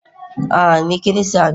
a, ni Kirista ne